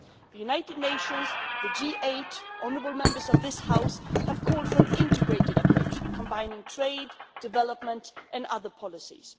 The United Nations, the G 8, honourable Members of this House have called for an integrated approach combining trade, development and other policies.